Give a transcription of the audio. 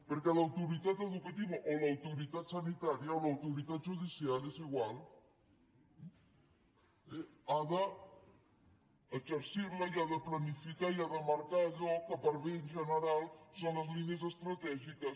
perquè l’autoritat educativa o l’autoritat sanitària o l’autoritat judicial és igual ha d’exercir·la i ha de planificar i ha de marcar allò que per al bé general són les línies estratègiques